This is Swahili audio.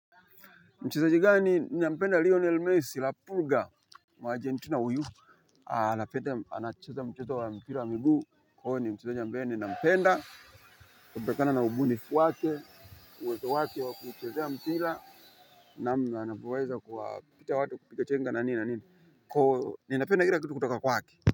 Mchezaji gani nampenda lionel messi la puga. Mwajia nitu na uyu alapete anacheza mchezo wa mpira wa miguu uyo ni mchezaji ambaye ninampenda kutokana na ubunifu wake uwezo wake wa kucheza mpira. Na anapoweza kuwa pita watu kupiga chenga na nini na nini kwaivo ni napenda kila kitu kutoka kwake.